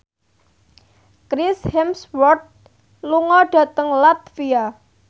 Chris Hemsworth lunga dhateng latvia